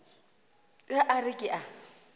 ge a re ke a